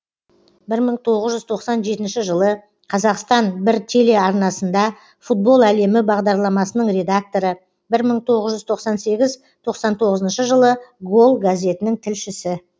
бір мың тоғыз тоқсан жетінші жылы қазақстан бір теле арнасында футбол әлемі бағдарламасының редакторы бір мың тоғыз жүз тоқсан сегіз тоқсан тоғызыншы жылы гол газетінің тілшісі